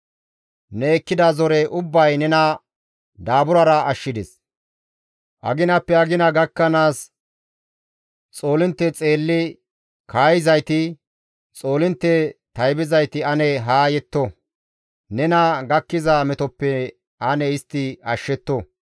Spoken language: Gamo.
Ne ekkida zore ubbay nena daaburara ashshides; aginappe agina gakkanaas xoolintte xeelli kaayizayti, xoolintte taybizayti ane haa yetto; nena gakkiza metoppe ane istti nena ashshetto.